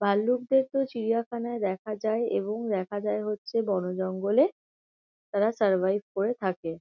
ভাল্লুকদেকেও চিড়িয়াখানায় দেখা যায় এবং দেখা যায় হচ্ছে বনজঙ্গলে। তারা সারভাইভ করে থাকে। .